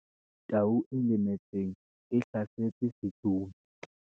tau e lemetseng e hlasetse setsomi